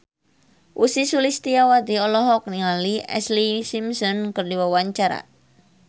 Ussy Sulistyawati olohok ningali Ashlee Simpson keur diwawancara